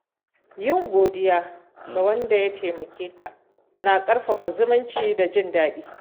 Yin godiya ga wanda ya taimakeka na ƙarfafa zumunci da jin daɗi.